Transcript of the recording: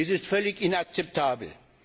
Dies ist völlig inakzeptabel.